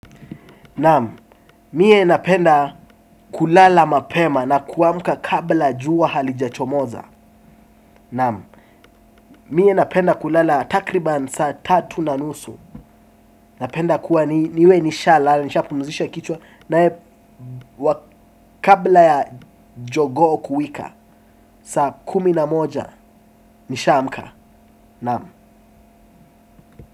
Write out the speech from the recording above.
Naam, mie napenda kulala mapema na kuamka kabla jua halijachomoza. Naam, mie napenda kulala takriban saa tatu na nusu napenda kuwa niwe nishalala, nishapumzisha kichwa naye, kabla ya jogoo kuwika, saa kumi na moja nishaamka naam.